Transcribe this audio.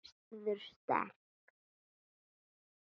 Verður sterk.